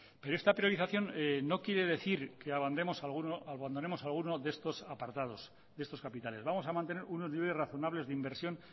pero esta priorización no quiere decir que abandonemos alguno de estos apartados de estos capitales vamos a mantener unos niveles razonables de inversión